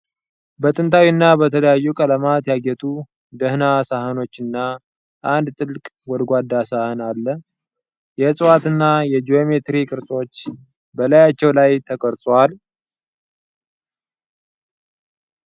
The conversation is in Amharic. በጥንታዊ እና በተለያዩ ቀለማት ያጌጡ ደህና ሳህኖች እና አንድ ጥልቅ ጎድጓዳ ሳህን አሉ። የእጽዋት እና የጂኦሜትሪክ ቅርጾች በላያቸው ላይ ተቀርጸዋል፡፡